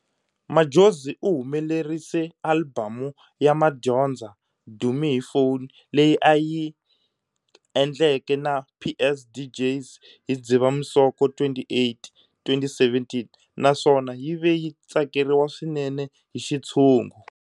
Madjozi u humelerise Albhamu ya madyondza,"Dumi HiPhone" leyi a yi ayi endlenke na PS DJz, hi Dzivamisoko 28, 2017 naswona yi ve yi tsakeriwa swinene hi xitshungu.